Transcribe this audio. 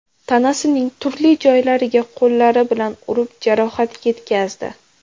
tanasining turli joylariga qo‘llari bilan urib jarohat yetkazdi .